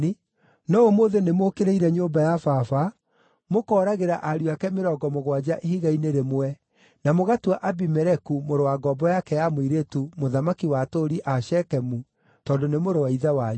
(no ũmũthĩ nĩmũũkĩrĩire nyũmba ya baba, mũkooragĩra ariũ ake mĩrongo mũgwanja ihiga-inĩ rĩmwe, na mũgatua Abimeleku, mũrũ wa ngombo yake ya mũirĩtu, mũthamaki wa atũũri a Shekemu tondũ nĩ mũrũ wa ithe wanyu),